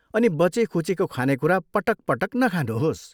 अनि बचेखुचेको खानेकुरा पटक पटक नखानुहोस्।